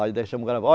Aí